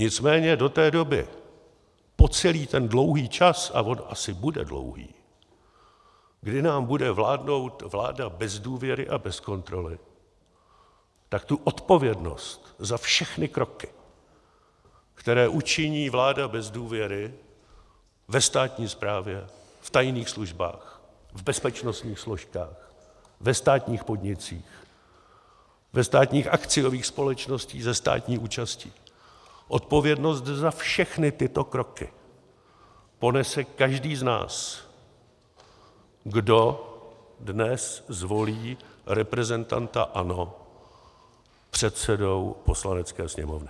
Nicméně do té doby, po celý ten dlouhý čas, a on asi bude dlouhý, kdy nám bude vládnout vláda bez důvěry a bez kontroly, tak tu odpovědnost za všechny kroky, které učiní vláda bez důvěry ve státní správě, v tajných službách, v bezpečnostních složkách, ve státních podnicích, ve státních akciových společnostech se státní účastí, odpovědnost za všechny tyto kroky ponese každý z nás, kdo dnes zvolí reprezentanta ANO předsedou Poslanecké sněmovny.